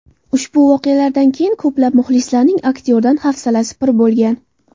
Ushbu voqealardan keyin ko‘plab muxlislarning aktyordan hafsalasi pir bo‘lgan.